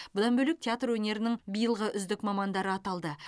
бұдан бөлек театр өнерінің биылғы үздік мамандары аталды